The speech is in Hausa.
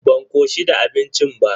Ban koshi da abincin ba.